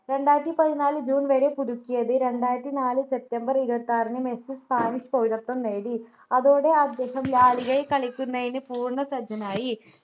രണ്ടായിരത്തി പതിനാല് june വരെ പുതുക്കിയത് രണ്ടായിരത്തിനാലിൽ september ഇരുപത്തിആറിന് മെസ്സി spanish പൗരത്വം നേടി അതോടെ അദ്ദേഹം ലാ ലിഗയിൽ കളിക്കുന്നതിന് പൂർണ്ണസജ്ജനായി